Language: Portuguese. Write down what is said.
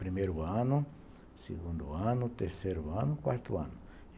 Primeiro ano, segundo ano, terceiro ano, quarto ano.